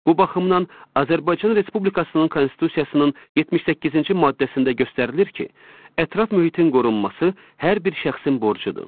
Bu baxımdan Azərbaycan Respublikasının Konstitusiyasının 78-ci maddəsində göstərilir ki, ətraf mühitin qorunması hər bir şəxsin borcudur.